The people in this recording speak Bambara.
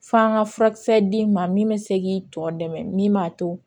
F'an ka furakisɛ d'i ma min bɛ se k'i tɔ dɛmɛ min b'a to